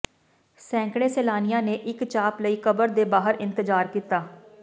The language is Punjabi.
ਸੈਂਕੜੇ ਸੈਲਾਨੀਆਂ ਨੇ ਇਕ ਚਾਪ ਲਈ ਕਬਰ ਦੇ ਬਾਹਰ ਇੰਤਜ਼ਾਰ ਕੀਤਾ